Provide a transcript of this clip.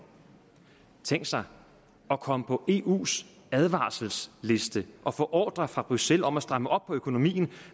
tænk sig at komme på eus advarselsliste og få ordrer fra bruxelles om at stramme op på økonomien